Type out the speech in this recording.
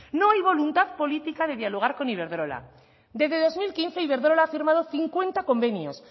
no hay voluntad política de dialogar con iberdrola desde dos mil quince iberdrola ha firmado cincuenta convenios